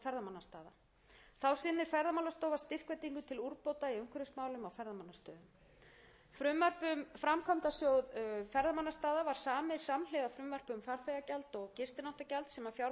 og þróun ferðamannastaða þá sinnir ferðamálastofa styrkveitingum til úrbóta í umhverfismálum á ferðamannastöðum frumvarp um framkvæmdasjóð ferðamannastaða var samið samhliða frumvarpi um farþegagjald og gistináttagjald sem fjármálaráðherra mun mæla fyrir